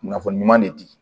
Kunnafoni ɲuman de di